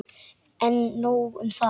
En nóg um það.